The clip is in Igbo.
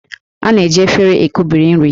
A na-eji éféré ekubiri nri